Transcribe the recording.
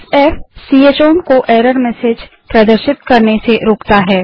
f160 च oven को error message प्रदर्शित करने से रोकता है